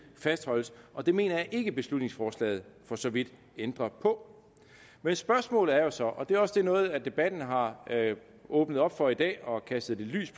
fastholdes og det mener jeg ikke at beslutningsforslaget for så vidt ændrer på men spørgsmålet er jo så og det er også noget af det debatten har åbnet op for i dag og kastet lidt lys